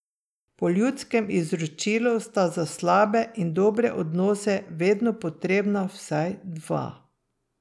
Po ljudskem izročilu sta za slabe in dobre odnose vedno potrebna vsaj dva.